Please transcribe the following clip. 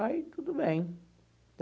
Aí, tudo bem.